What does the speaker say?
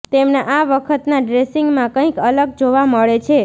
તેમના આ વખતના ડ્રેસિંગમાં કંઈક અલગ જોવા મળે છે